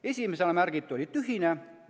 Esimesena märgitu oli tühine.